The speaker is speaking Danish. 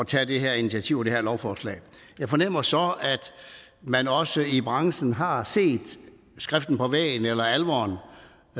tage det her initiativ og gennemføre her lovforslag jeg fornemmer så at man også i branchen har set skriften på væggen eller alvoren